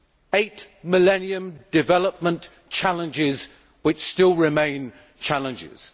eight millennium development challenges which still remain challenges.